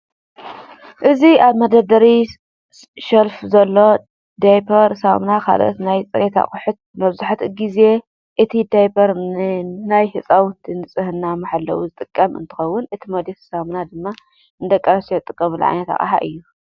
እዚ ኣብ መደርደሪ ሸልፍ ዘሎ ዳይፐር፣ ሳሙና ካልኦት ናይ ፅሬት ኣቅሑትን መብዛሕትኡ ግዜ እቲ ዳይፐር ንናይ ህፃውንቲ ንፅህና መሐለዊ ዝጠቅም እንትኸውን እቲ ሞዴስን ሳሙናን ድማ ንደቂ ኣነስትዮ ዝጥቀማሉ ዓይነት ኣቅሓ እዩ፡፡